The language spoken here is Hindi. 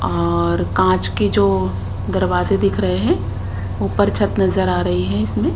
और कांच की जो दरवाजे दिख रहे हैं ऊपर छत नजर आ रही है इसमें।